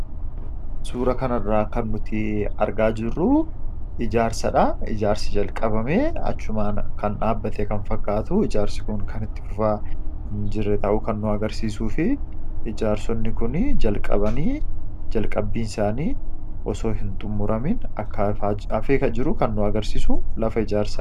suura kana irraa kan nuti argaa jiru ijaarsaa dha. ijaarsi jalqabame achumaan kan dhaabbate kan fakkaatu ijaarsi kun kan itti fufaa hin jirre ta'uu kan nu agarsiisuu fi ijaarsonni kun jalqabanii jalqabbiin isaanii osoo hin xummuramin akka hafee jiruu kan nu agarsiisu lafa ijaarsaa.